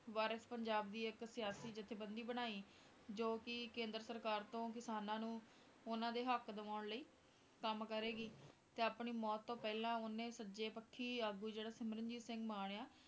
ਵਾਰਿਸ ਪੰਜਾਬ ਦੀ ਇੱਕ ਸਿਆਸਤੀ ਜੱਥੇਬੰਦੀ ਬਣਾਈ ਜੋ ਕਿ ਕੇਂਦਰ ਸਰਕਾਰ ਤੋਂ ਕਿਸਾਨਾਂ ਨੂੰ ਉਹਨਾਂ ਦੇ ਹੱਕ ਦਿਵਾਉਣ ਲਈ ਕੰਮ ਕਰੇਗੀ, ਤੇ ਆਪਣੀ ਮੌਤ ਤੋਂ ਪਹਿਲਾਂ ਉਹਨੇ ਸੱਜੇ ਪੱਖੀ ਆਗੂ ਜਿਹੜਾ ਸਿਮਰਨਜੀਤ ਸਿੰਘ ਮਾਨ ਆ,